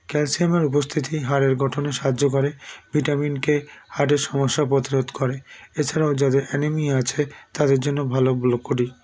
calcium -এর উপস্থিতি হাড়ের গঠনে সাহায্য করে vitamin k heart -এর সমস্যা পথ রোধ করে এছাড়াও যাদের anemia আছে তাদের জন্য ভালো broccoli